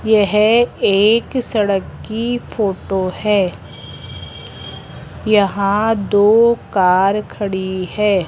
यह एक सड़क की फोटो है यहां दो कार खड़ी है।